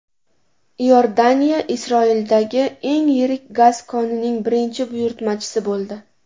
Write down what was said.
Iordaniya Isroildagi eng yirik gaz konining birinchi buyurtmachisi bo‘ldi.